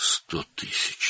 100.000!